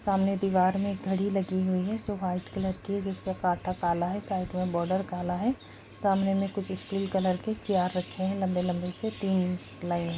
सामने दीवार में एक घड़ी लगी हुई है जो वाइट कलर की है जिसका कांटा काला है साइड में बोर्डर काला है सामने में कुछ स्टील कलर की चेयर रखे है लम्बे- लम्बे से तीन लाइन--